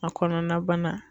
A kɔnɔna bana